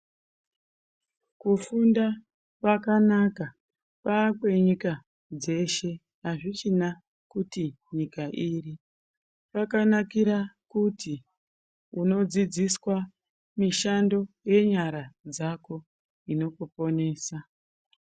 Kufunda kwakanaka, kwakwenyika dzeshe, hazvichina kuti nyika iri. Kwakanakira kuti, unodzidziswa mishando yenyara dzako inokuponesa.